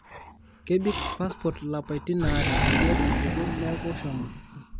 kebik passport lapaitin aare peyie epuku neeku shomo